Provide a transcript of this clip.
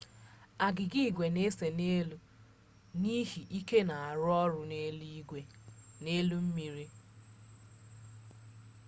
agịga igwe n'ese n'elu mmiri n'ihi ike n'arụ ọrụ n'elu mmiri